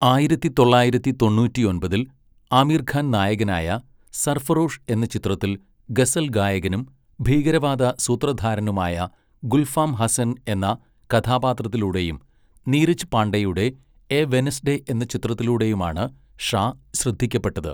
ആയിരത്തി തൊള്ളായിരത്തി തൊണ്ണൂറ്റിയൊമ്പതിൽ ആമിർ ഖാൻ നായകനായ 'സർഫറോഷ്' എന്ന ചിത്രത്തിൽ ഗസൽ ഗായകനും ഭീകരവാദ സൂത്രധാരനുമായ ഗുൽഫാം ഹസൻ എന്ന കഥാപാത്രത്തിലൂടെയും നീരജ് പാണ്ഡെയുടെ 'എ വെനസ്ഡേ' എന്ന ചിത്രത്തിലൂടെയുമാണ് ഷാ ശ്രദ്ധിക്കപ്പെട്ടത്.